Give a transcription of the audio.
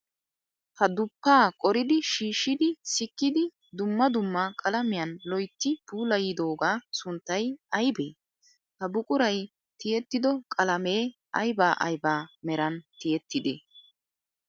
Ha duppaa qoridi shiishshidi sikkidi dumma dumma qalamiyan loyitti puulayidoogaa sunttay ayibee? Ha buquray tiyettido qalamee ayiba ayiba meran tiyettidee?